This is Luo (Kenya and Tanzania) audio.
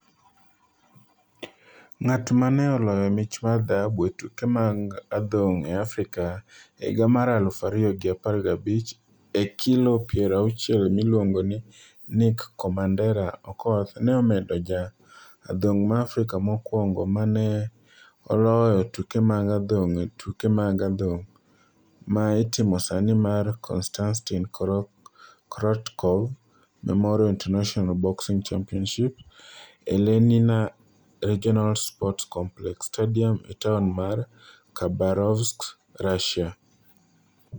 Ng'at ma ne oloyo mich mar dhahabu e tuke mag adhong' e Afrika e higa mar aluf ariyo gi apar gi abich e kilo piero auchiel miluongo ni Nick 'Commanderâ' Okoth ne obedo ja adhong' ma Afrika mokwongo ma ne oloyo tuke mag adhong' e tuke mag adhong' ma itimo sani mar Konstantin Korotkov Memorial International Boxing Championships e Lenina Regional Sports Complex - Stadium e taon mar Khabarovsk, Russia.